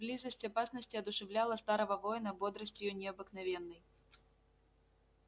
близость опасности одушевляла старого воина бодростию необыкновенной